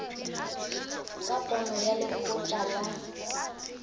ka pono ya lekgotla la